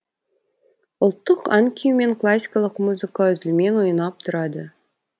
ұлттық ән күй мен классикалық музыка үзілмен ойнап тұрады